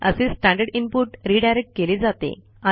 असे standard input redirect केले जाते